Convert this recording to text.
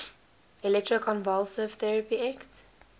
electroconvulsive therapy ect